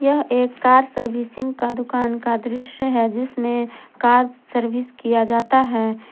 यह एक car servicing का दुकान का दृश्य है जिसमें कार सर्विस किया जाता है।